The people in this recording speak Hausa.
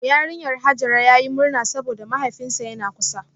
Yarinyar Hajara yayi murna saboda mahaifinsa yana kusa